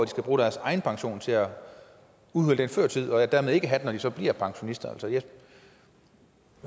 skal bruge deres egen pension til at udhule den før tid og dermed ikke have den når de så bliver pensionister jeg